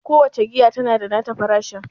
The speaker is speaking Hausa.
ku wacce jiya tana da nata farashin